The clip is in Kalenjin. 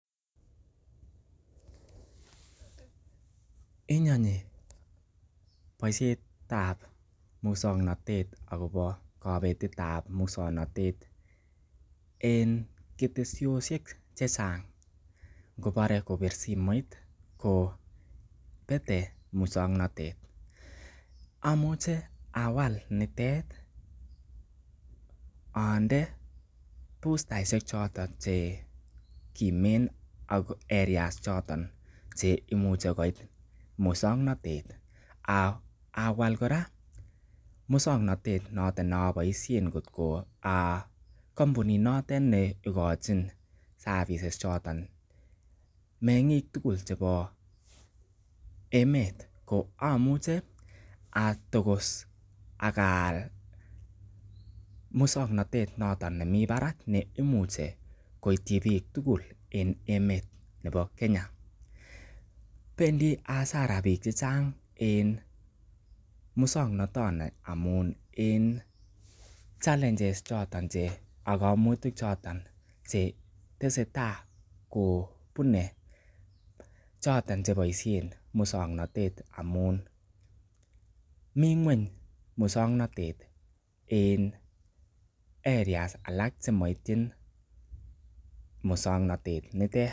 Inyonyii boisietab muswoknatet agobo kobetet ab muswoknatet en ketesyosiek che chang kobore kobir simoit ko bete muswoknatet. Amuche awal nitet onde boostaishek chotet che kimen ak areas choto ch eimuche koit muswoknatet ak awal kora muswoknatet noton ne aboisien kotko a kompunit notet ne igochin services choton meng'ik tugul chebo emet koamuche atogos ak aal muswoknatet noton nemi barak noton nemuchi koityi biik tugul en emet nebo Kenya, bendi hasara biik che chang en muswoknatoni amun en challenges choto aka kaimutik choton che tesetai kobune choton ch eboiisien muswoknatet amun mi ngw'eny muswaknatet en areas alak che moityin muswoknatet nitet